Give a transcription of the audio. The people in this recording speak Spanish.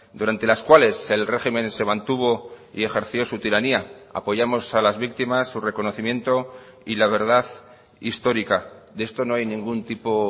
durante las cuales el régimen se mantuvo y ejerció su tiranía apoyamos a las víctimas su reconocimiento y la verdad histórica de esto no hay ningún tipo